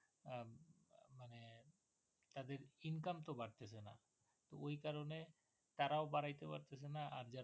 income তো বাড়তেছেনা ওই কারণে তারাও বাড়াইতে পারতেছেনা আর